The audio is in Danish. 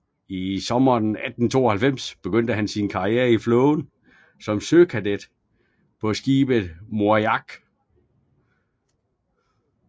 I sommeren 1892 begyndte han sin karriere i flåden som søkadet på skibet Moriak